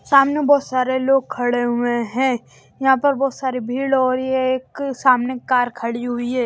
सामने बहुत सारे लोग खड़े हुए हैं यहां पर बहुत सारी भीड़ हो रही है एक सामने कार खड़ी हुई है।